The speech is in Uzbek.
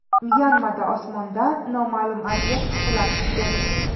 Myanmada osmondan noma’lum obyekt qulab tushdi.